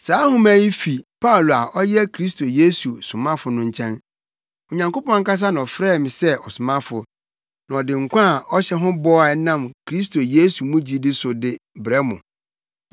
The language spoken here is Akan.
Saa nhoma yi fi Paulo a ɔyɛ Kristo Yesu somafo no nkyɛn. Onyankopɔn ankasa na ɔfrɛɛ me sɛ ɔsomafo, na ɔde nkwa a ɔhyɛ ho bɔ a ɛnam Kristo Yesu mu gyidi so de brɛ mo.